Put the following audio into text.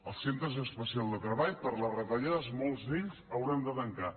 els centres especials de treball per les retallades molts d’ells hauran de tancar